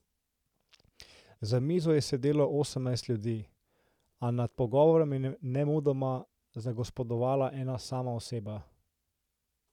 Za mizo je sedelo osemnajst ljudi, a nad pogovorom je nemudoma zagospodovala ena sama oseba.